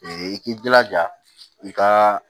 i k'i jilaja i ka